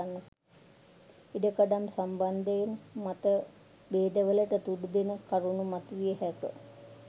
ඉඩකඩම් සම්බන්ධයෙන් මතභේදවලට තුඩුදෙන කරුණු මතුවිය හැක